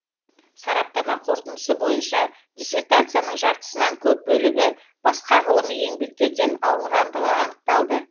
сараптама қорытындысы бойынша диссертацияның жартысынан көп бөлігі басқа ғылыми еңбектерден алынғандығы анықталды